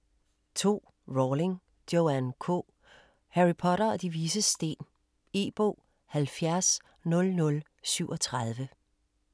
2. Rowling, Joanne K.: Harry Potter og De Vises Sten E-bog 700037